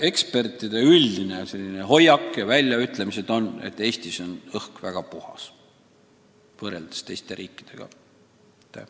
Ekspertide üldine arvamus on, et Eestis on õhk võrreldes teiste riikide omaga väga puhas.